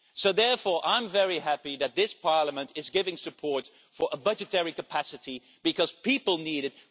that. Therefore, I am very happy that this Parliament is supporting a budgetary capacity, because people need